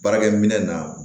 Baarakɛ minɛ na